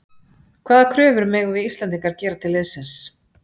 Hvaða kröfur megum við Íslendingar gera til liðsins?